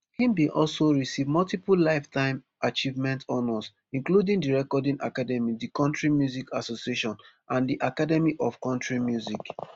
im bin also receive multiple lifetime achievement honours including the recording academy di country music association and di academy of country music